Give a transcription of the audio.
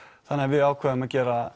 þannig við ákváðum að gera